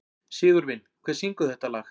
Sigurvin, hver syngur þetta lag?